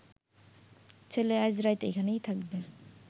ছেলে আইজ রাইত এখানেই থাকবে